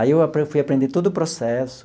Aí eu fui aprender todo o processo.